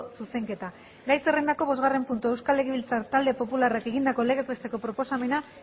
zuzenketa gai zerrendako bosgarren puntua euskal legebiltzar talde popularrak egindako legez besteko proposamena